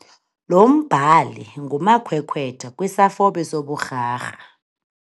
Lo mbhali ngumakhwekhwetha kwisafobe soburharha.